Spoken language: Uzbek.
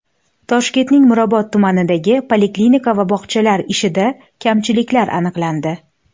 Toshkentning Mirobod tumanidagi poliklinika va bog‘chalar ishida kamchiliklar aniqlandi.